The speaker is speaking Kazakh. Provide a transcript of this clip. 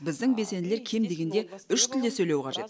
біздің белсенділер кем дегенде үш тілде сөйлеуі қажет